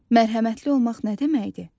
Mərhəmətli olmaq nə deməkdir?